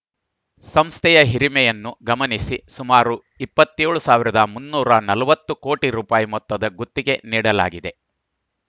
ಸಂಸ್ಥೆಯ ಹಿರಿಮೆಯನ್ನು ಗಮನಿಸಿ ಸುಮಾರು ಇಪ್ಪತ್ತ್ ಏಳ್ ಸಾವಿರದ ಮುನ್ನೂರ ನಲವತ್ತು ಕೋಟಿ ರುಪಾಯಿ ಮೊತ್ತದ ಗುತ್ತಿಗೆ ನೀಡಲಾಗಿದೆ